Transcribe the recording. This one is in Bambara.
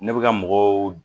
Ne bɛ ka mɔgɔw